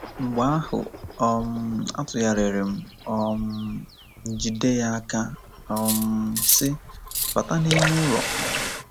Mgbe ahụ, um atụgharịrị um m, jide ya aka, um sị, “Bata n’ime ụlọ! ”